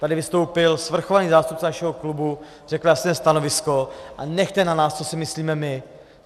Tady vystoupil svrchovaný zástupce našeho klubu, řekla jste stanovisko a nechte na nás, co si myslíme my.